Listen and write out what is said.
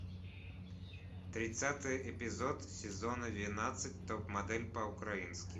тридцатый эпизод сезона двенадцать топ модель по украински